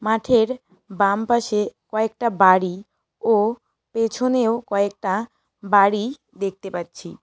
মাঠের বাম পাশে কয়েকটা বাড়ি ও পেছনেও কয়েকটা বাড়ি দেখতে পাচ্ছি।